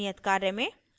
नियत कार्य में